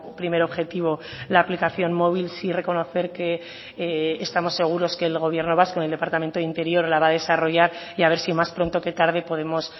primer objetivo la aplicación móvil sí reconocer que estamos seguros que el gobierno vasco el departamento de interior la va a desarrollar y a ver si más pronto que tarde podemos